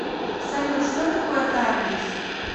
салют что такое тардис